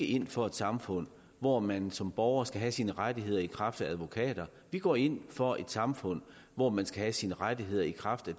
ind for et samfund hvor man som borger skal have sine rettigheder i kraft af advokater vi går ind for et samfund hvor man skal have sine rettigheder i kraft af